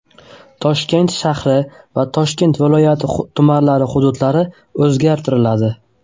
Toshkent shahri va Toshkent viloyati tumanlari hududlari o‘zgartiriladi.